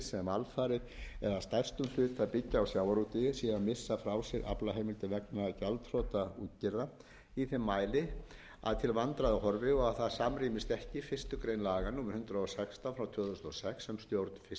sem alfarið eða að stærstum hluta byggja á sjávarútvegi séu að missa frá sér aflaheimildir vegna gjaldþrota útgerða í þeim mæli að til vandræða horfi og að það samrýmist ekki fyrstu grein laga númer hundrað og sextán tvö þúsund og sex